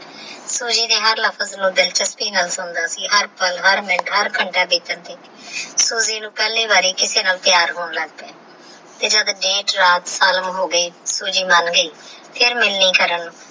ਸੂਜੀ ਦੇ ਹਰ ਨੂ ਦਿਲਚਸਪੀ ਨਾਲ ਸੁਣਦਾ ਸੀ ਹਰ ਪਾਲ ਹਰ ਮਿਨਤ ਹਰ ਘੰਟੇ ਬਿੱਟਣ ਤੇਹ ਸੂਜੀ ਨੂ ਪਹਲੀ ਵਾਰੀ ਕਿਸੀ ਨਾਲ ਪ੍ਯਾਰ ਹੋਣ ਲਾਗ ਗਯਾ ਤੇਹ ਜਦੋ ਦੇਰ ਰਾਤ ਹੋ ਗਯਾ ਸੂਜੀ ਮੰਨ ਗਯੀ ਤੇਹ ਫਿਰ ਮੰਗਨੀ ਕਰਨ ਨੂ